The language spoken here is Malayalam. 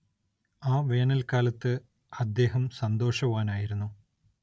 ആ വേനൽക്കാലത്ത് അദ്ദേഹം സന്തോഷവാനായിരുന്നു.